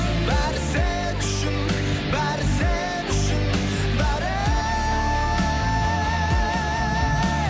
бәрі сен үшін бәрі сен үшін бәрі